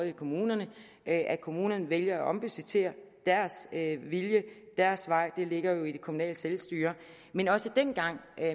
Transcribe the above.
i kommunerne at kommunerne vælger at ombudgettere er deres vilje deres vej det ligger jo i det kommunale selvstyre men også dengang